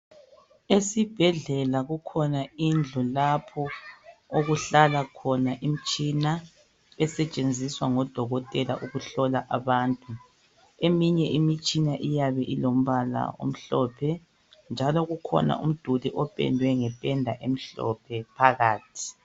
Esibhedlela kukhona indlu lapho okuhlala khona imtshina esetshenziswa ngodokotela ukuhlola abantu. Eminye imtshina iyabe ilombala omhlophe, njalo kukhona umduli opendwe ngependa emhlophe phakathi.